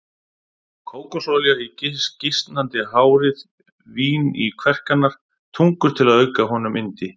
Kókosolía í gisnandi hárið, vín í kverkarnar, tungur til að auka honum yndi.